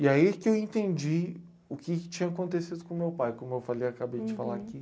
E aí que eu entendi o que tinha acontecido com o meu pai, como eu falei, acabei de falar aqui.